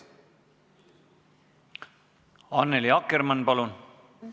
Annely Akkermann, palun!